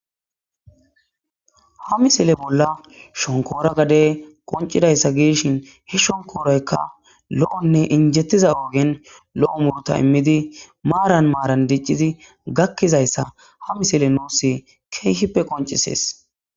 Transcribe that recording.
Ha missile bola shonkora gade qonc'idaysa gidishin he shonkorayka lo'one injetiza ogeni lo'o muruta imidi maran maran dic'izi gakizaysa ha missile nus kehipe qonc'ses.